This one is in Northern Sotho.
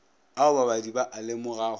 ao babadi ba a lemogago